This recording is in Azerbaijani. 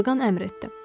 Orqan əmr etdi.